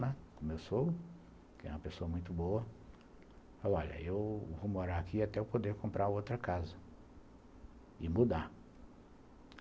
Começou, tem uma pessoa muito boa, falou, olha, eu vou morar aqui até eu poder comprar outra casa e mudar.